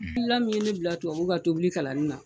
Hakilila mun ye ne bila tubabuw ka tobili kalanni na